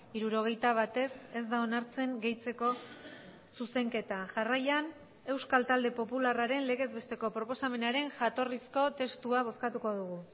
hirurogeita bat ez ez da onartzen gehitzeko zuzenketa jarraian euskal talde popularraren legez besteko proposamenaren jatorrizko testua bozkatuko dugu